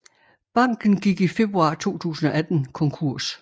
Banken gik i februar 2018 konkurs